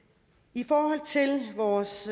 i forhold til vores